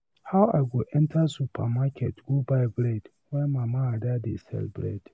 How I go enter supermarket go buy bread when mama Ada dey sell bread.